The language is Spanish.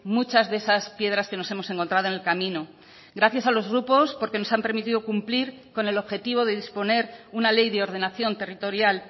muchas de esas piedras que nos hemos encontrado en el camino gracias a los grupos porque nos han permitido cumplir con el objetivo de disponer una ley de ordenación territorial